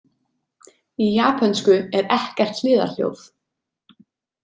Í japönsku er ekkert hliðarhljóð.